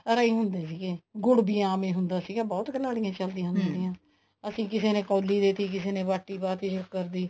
ਘਰਾਂ ਹੀ ਹੁੰਦੇ ਸੀਗੇ ਗੁੜ ਵੀ ਆਮ ਹੀ ਹੁੰਦਾ ਸੀਗਾ ਬਹੁਤ ਕੁਲਾੜੀਆਂ ਚੱਲਈਆਂ ਅਸੀਂ ਕਿਸੇ ਨੇ ਕੋਲੀ ਦੇਤੀ ਕਿਸੇ ਨੇ ਬਾਤੀ ਪਾ ਤੀ ਸ਼ੱਕਰ ਦੀ